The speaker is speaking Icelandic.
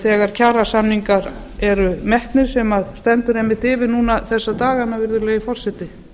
þegar kjarasamningar eru metnir sem stendur einmitt yfir núna þessa dagana virðulegi forseti